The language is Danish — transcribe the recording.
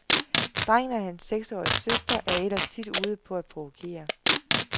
Drengen og hans seksårige søster er ellers tit ude på at provokere.